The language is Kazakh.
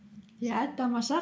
иә тамаша